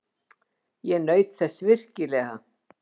Ég naut þess virkilega.